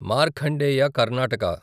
Markandeya Karnataka